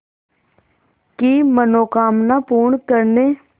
की मनोकामना पूर्ण करने